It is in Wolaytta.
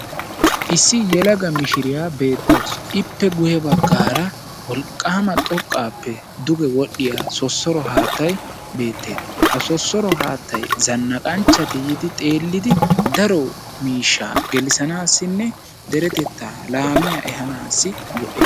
Issi yelaga miishiriya beetawusu. Ippe guye baggaara wolqqama xoqqappe duge wodhiya sosoro haattaay beetes. Ha sosoro haattaay zannaqqanchati yidi xeelidi daro miisha gelissanasine deretetta laamiya ehanasi go'es